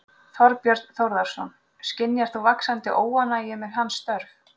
Þorbjörn Þórðarson: Skynjar þú vaxandi óánægju með hans störf?